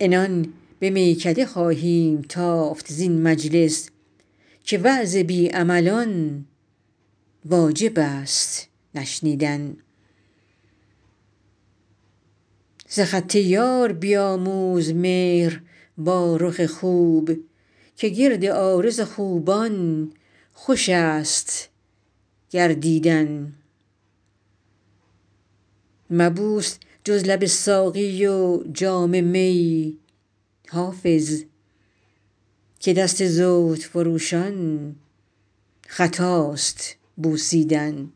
عنان به میکده خواهیم تافت زین مجلس که وعظ بی عملان واجب است نشنیدن ز خط یار بیاموز مهر با رخ خوب که گرد عارض خوبان خوش است گردیدن مبوس جز لب ساقی و جام می حافظ که دست زهد فروشان خطاست بوسیدن